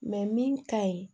min ka ɲi